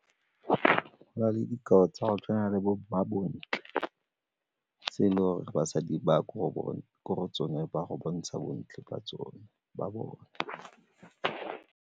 Go na le dikao tsa go tshwana le bo mmabontle, tse e le gore basadi ba ko go bone gore tsone ba go bontsha bontle ka tsone, ba bone.